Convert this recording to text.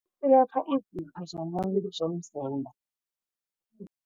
Ilapha izitho zomuntu zomzimba.